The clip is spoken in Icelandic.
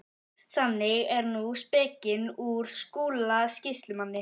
Þannig er nú spekin úr Skúla sýslumanni.